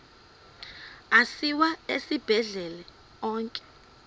asiwa esibhedlele onke